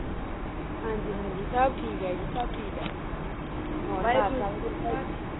ਹਾਂਜੀ-ਹਾਂਜੀ ਸਭ ਠੀਕ ਆ ਜੀ। ਸਭ ਠੀਕ ਆ।